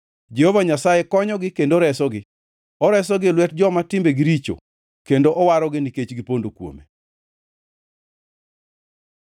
Jehova Nyasaye konyogi kendo resogi oresogi e lwet joma timbegi richo, kendo owarogi, nikech gipondo kuome.